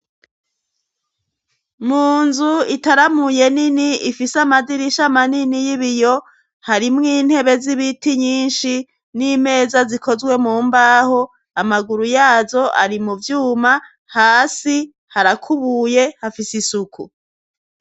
Mu nzu itaramuye nini ifise amadirisha manini y'ibiyo harimwo intebe z'ibiti nyinshi n'imeza zikozwe mu mbaho amaguru yazo ari mu vyuma hasi harakubuye hafise isuku.